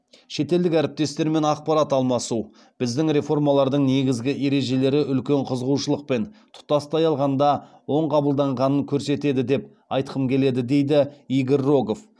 шетелдік әріптестермен ақпарат алмасу біздің реформалардың негізгі ережелері үлкен қызығушылықпен тұтастай алғанда оң қабылданғанын көрсетеді деп айтқым келеді дейді игорь рогов